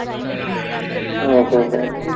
ഓ ഹോ ഹോ